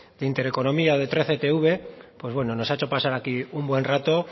de inter economía de trece te uve pues bueno nos ha hecho pasar aquí un buen rato